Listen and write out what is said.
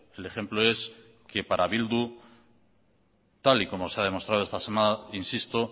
el ejemplo es que para bildu tal y como se ha demostrado esta semana insisto